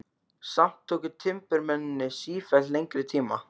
Samt tóku timburmennirnir sífellt lengri tíma.